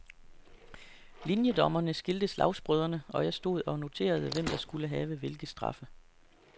Linjedommerne skilte slagsbrødrene, og jeg stod og noterede, hvem der skulle have hvilke straffe.